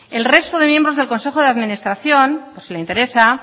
el resto de miembros del consejo de administración por si le interesa